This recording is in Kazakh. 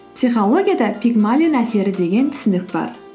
психологияда пигмалион әсері деген түсінік бар